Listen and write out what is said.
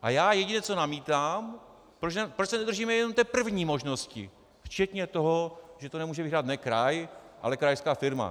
A já jedině co namítám, proč se nedržíme jenom té první možnosti, včetně toho, že to nemůže vyhrát ne kraj, ale krajská firma.